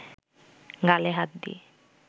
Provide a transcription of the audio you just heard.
গালে হাত দিয়ে